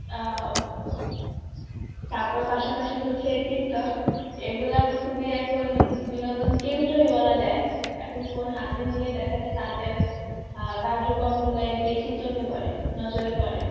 আহ তারপর পাশাপাশি হচ্ছে Tiktok, এগুলা খুবই এখন বিনোদন কেন্দ্রই বলা যায়, এখন phone হাতে নিলেই দেখা যায় তাদের আহ কার্যক্রম গুলাই বেশি চোখে পরে, নজরে পরে